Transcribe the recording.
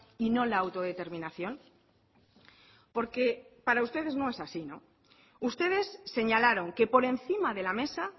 y no la autodeterminación porque para ustedes no es así no ustedes señalaron que por encima de la mesa